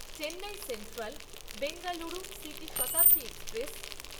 Chennai central Bengaluru city Shatabdi express